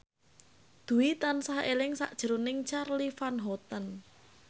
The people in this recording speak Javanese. Dwi tansah eling sakjroning Charly Van Houten